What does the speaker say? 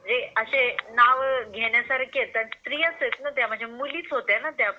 असे नाव घेण्यासारखे आहेत स्त्रियाच आहेत ना त्या मुलीच होत्या ना त्या